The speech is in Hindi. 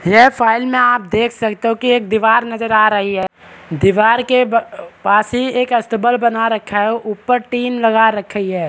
यह फाइल में आप देख सकते हो कि दीवार नजर आ रही है दीवार के बा पास ही एक स्टेबल बना रखा है ऊपर टीन बना रखी हैं।